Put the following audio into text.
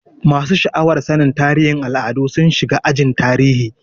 Masu sha'awar sanin tarihin al'adu sun shiga ajin tarihi.